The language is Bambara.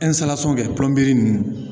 kɛ ninnu